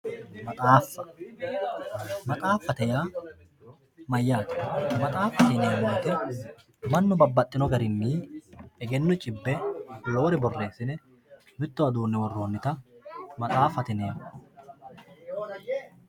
maxaaffa maxaaffate yaa mayyate? maxaaffate yineemmo wote mannu babbaxino garinni egenno cibbe noore borreessine mittowa duunne worroonnita maxaaffate yineemmo.